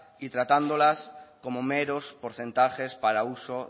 y tratándolas como meros porcentajes para uso